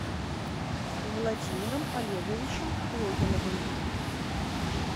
владимиром олеговичем логиновым